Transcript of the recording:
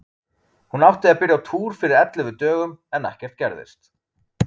Hún átti að byrja á túr fyrir ellefu dögum, en ekkert gerðist.